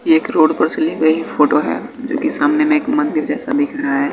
एक रोड पर से ली गई फोटो है जो कि सामने में एक मंदिर जैसा दिख रहा हैं।